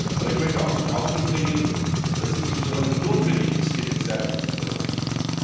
Aber ich möchte auch zum Ausdruck bringen, dass es notwendig ist, mit Serbien zu kooperieren.